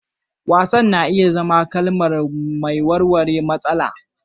Wasan na iya zama kalma mai warware matsala.